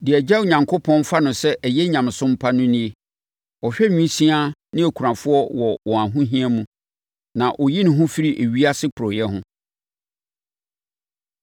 Deɛ Agya Onyankopɔn fa no sɛ ɛyɛ nyamesom pa no nie: Ɔhwɛ nwisiaa ne akunafoɔ wɔ wɔn ahohia mu, na ɔyi ne ho firi ewiase porɔeɛ ho.